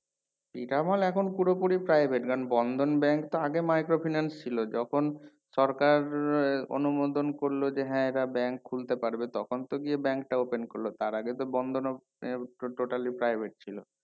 এটা মাল এখন পুরোপুরি private কারণ বন্ধন bank টা আগে micro finance ছিল যখন সরকার অনুমোদন করলো যে হ্যাঁ এরা bank খুলতে পারবে তখন তো গিয়ে bank টা open করলো তার আগে তো বন্ধনও আহ totally private ছিল